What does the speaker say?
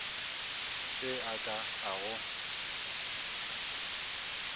se a ka a go